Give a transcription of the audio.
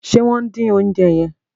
ṣe wón din oúnjẹ yen?